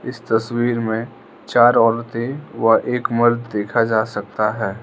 इस तस्वीर में चार औरतें वह एक मर्द देखा जा सकता है।